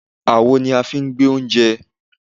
àwo ni a fi ń gbé oúnjẹ